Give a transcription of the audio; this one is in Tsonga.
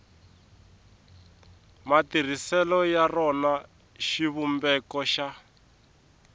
matirhiselo ya rona xivumbeko xa